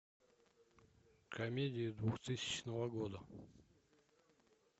комедии двухтысячного года